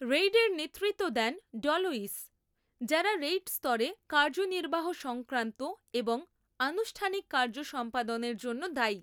রেইডের নেতৃত্ব দেন ডলোইস, যারা রেইড স্তরে কার্যনির্বাহ সংক্রান্ত এবং আনুষ্ঠানিক কার্য সম্পাদনের জন্য দায়ী।